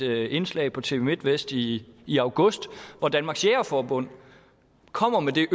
et indslag på tv midtvest i i august hvor danmarks jægerforbund kommer med